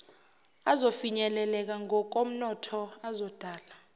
azofinyeleleka ngokomnotho azodala